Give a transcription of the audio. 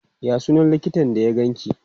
Ya sunan likitan da ya ganki?